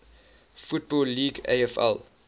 football league afl